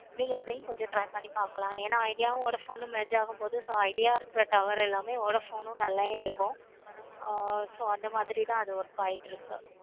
நீங்க அதையும் கொஞ்சம் try பண்ணி பார்க்கணும். ஏன idea உம் vodafone உம் merge ஆகுறனாள so idea இருக்க phone எல்லாமே tower எல்லாமே நல்ல எடுக்கும். ஆஹ் so அந்த மாதிரி தான் எல்லாம் work ஆகிட்டு இருக்கு.